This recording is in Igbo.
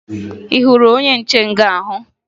Ị hụrụ onye nche nga ahụ?